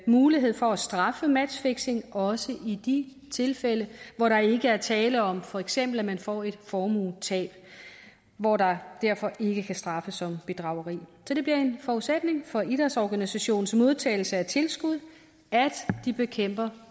mulighed for at straffe matchfixing også i de tilfælde hvor der ikke er tale om for eksempel får et formuetab og hvor der derfor ikke kan straffes for bedrageri så det bliver en forudsætning for idrætsorganisationers modtagelse af tilskud at de bekæmper